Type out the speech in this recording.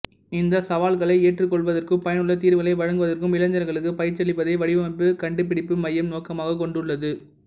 இந்த சவால்களை ஏற்றுக்கொள்வதற்கும் பயனுள்ள தீர்வுகளை வழங்குவதற்கும் இளைஞர்களுக்கு பயிற்சியளிப்பதை வடிவமைப்பு கண்டுபிடிப்பு மையம் நோக்கமாகக் கொண்டுள்ளது